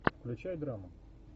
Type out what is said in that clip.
включай драму